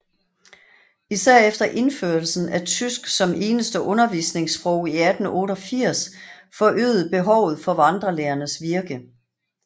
Især efter indførelsen af tysk som eneste undervisningssprog i 1888 forøgede behovet for vandrelærernes virke